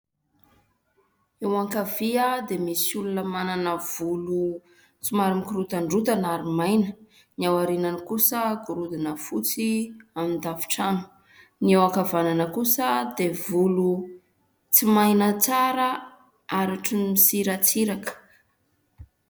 Eo ankavia dia misy olona manana volo somary mikorontandrotana ary maina ; ny aorianany kosa gorodona fotsy amin'ny tafotrano ; ny eo ankavanana kosa dia volo tsy maina tsara ary ohatran'ny misiratsiraka.